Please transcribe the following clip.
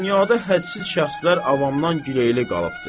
Dünyada hədsiz şəxslər avamdan giləyli qalıbdır.